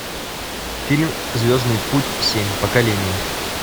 фильм звездный путь семь поколение